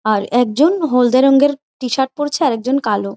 আর একজন হলদে রঙে টি-শার্ট পড়েছে আর একজন কালো।